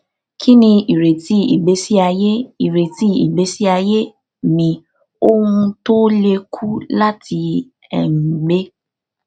kini ireti igbesi aye ireti igbesi aye mi owun to le ku lati um gbe